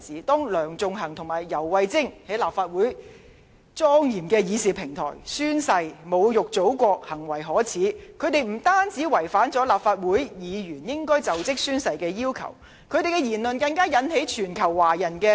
當梁頌恆和游蕙禎在立法會莊嚴的議事平台上宣誓時侮辱祖國，行為可耻，他們不單違反立法會議員就職宣誓時的要求，而發表的言論更引起全球華人公憤。